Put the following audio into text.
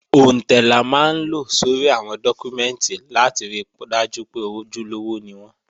Òǹtẹ̀ la máa ń lo sórí àwọn dọ́kúmẹ́ǹtì láti ri dájú pé ojúlówó ni wọ́n